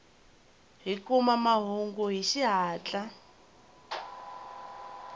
hi kuma mahungu hi xihatla